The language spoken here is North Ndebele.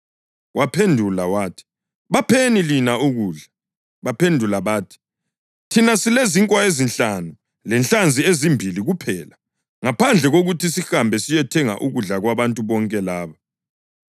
Waphendula wathi, “Bapheni lina ukudla.” Baphendula bathi, “Thina silezinkwa ezinhlanu lenhlanzi ezimbili kuphela, ngaphandle kokuthi sihambe siyothenga ukudla kwabantu bonke laba.”